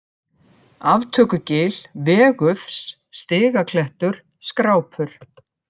Aftökugil, Vegufs, Stigaklettur, Skrápur